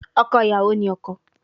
Ọkọ iyawo ni ọkọ